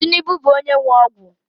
Tinubu bụ onye nwe ọgwụ